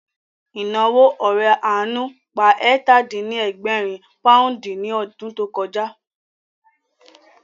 Ìnáwó ore àánú pa ẹ̀tà-dín-ní-ẹgbẹ̀rin pòúndì ní ọdún tó kọjá